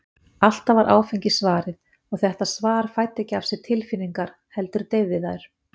Alltaf var áfengi svarið, og þetta svar fæddi ekki af sér tilfinningar, heldur deyfði þær.